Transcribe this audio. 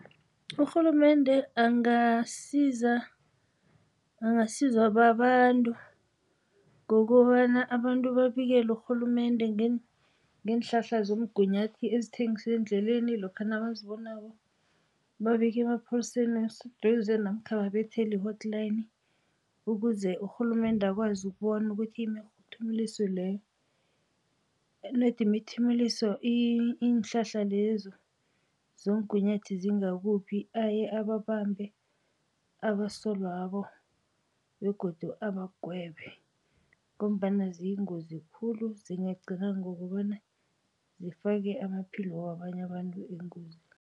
Urhulumende angasiza, angasizwa babantu ngokobana abantu babikele urhulumende ngeenhlahla zomgunyathi ezithengiswa endleleni lokha nabazibonako. Babike emapholiseni aseduze namkha babethale i-hotline ukuze urhulumende akwazi ukubona ukuthi imthimuliso leyo, not imthimuliso iinhlahla lezo zomgunyathi zingakuphi. Aye ababambe abasolwabo begodu abagwebe ngombana ziyingozi khulu, zingagcina ngokobana zifake amaphilo wabanye abantu engozini.